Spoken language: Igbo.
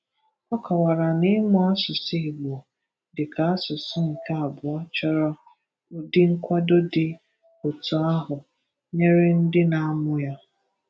Ọ kọwara na ịmụ asụsụ Igbo dịka asụsụ nke abụọ chọrọ udi nkwado dị otu ahụ nyere ndị na-amụ ya.